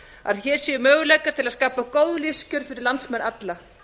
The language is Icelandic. að hér séu möguleikar til að skapa góð lífskjör fyrir landsmenn alla